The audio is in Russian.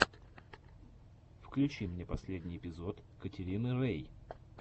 включи мне последний эпизод катерины рэй